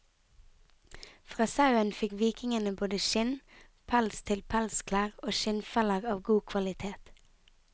Fra sauen fikk vikingene både skinn, pels til pelsklær og skinnfeller av god kvalitet.